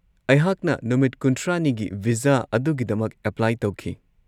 ꯑꯩꯍꯥꯛꯅ ꯅꯨꯃꯤꯠ ꯈꯨꯟꯊ꯭ꯔꯥꯅꯤꯒꯤ ꯚꯤꯖꯥ ꯑꯗꯨꯒꯤꯗꯃꯛ ꯑꯦꯄ꯭ꯂꯥꯏ ꯇꯧꯈꯤ꯫